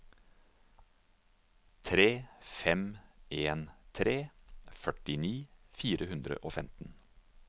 tre fem en tre førtini fire hundre og femten